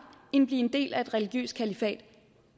end blive en del af et religiøst kalifat